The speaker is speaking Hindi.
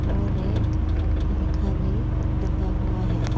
और एक पंखा भी लगा हुआ है।